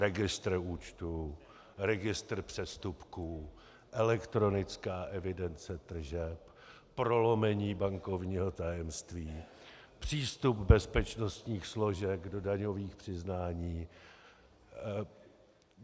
Registr účtů, registr přestupků, elektronická evidence tržeb, prolomení bankovního tajemství, přístup bezpečnostních složek do daňových přiznání.